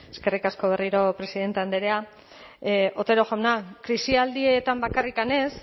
eskerrik asko berriro presidente andrea otero jauna krisialdietan bakarrik ez